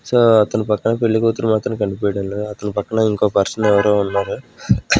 So అతని పక్కన పెళ్లి కూతురు మాత్రం కనిపేయడం లేదు అతని పక్కన ఇంకో పర్సన్ ఎవరో ఉన్నారు.